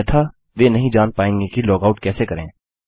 अन्यथा वे नहीं जान पायेंगे कि लॉगआउट कैसे करें